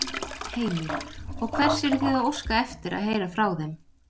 Heimir: Og hvers eruð þið að óska eftir að heyra frá þeim?